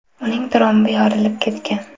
Uning trombi yorilib ketgan.